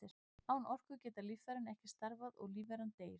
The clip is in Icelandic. Án orku geta líffærin ekki starfað og lífveran deyr.